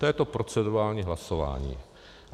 To je to procedurální hlasování.